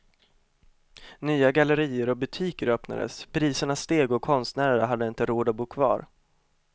Nya gallerier och butiker öppnades, priserna steg och konstnärerna hade inte råd att bo kvar.